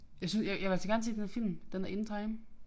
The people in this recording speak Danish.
Jeg synes jeg jeg vil altså gerne se den der film den der In Time